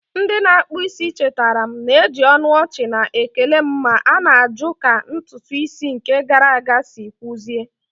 Ndị na-akpụ isi chetara m, na-eji ọnụ ọchị na-ekele m ma na-ajụ ka ntutu isi nke gara aga si kwụsie